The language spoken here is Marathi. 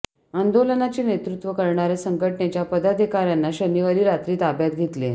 आंदोलनाचे नेतृत्व करणार्या संघटनेच्या पदाधिकार्यांना शनिवारी रात्री ताब्यात घेतले